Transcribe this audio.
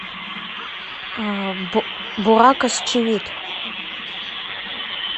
бурак озчивит